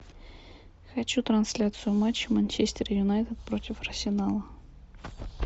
хочу трансляцию матча манчестер юнайтед против арсенала